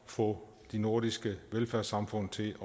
få de nordiske velfærdssamfund til